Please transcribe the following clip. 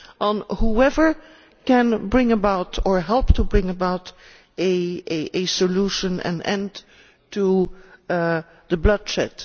on whoever can bring about or help to bring about a solution and end the bloodshed.